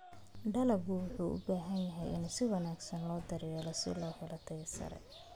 Dalaggu wuxuu u baahan yahay in si wanaagsan loo daryeelo si loo helo tayo sare.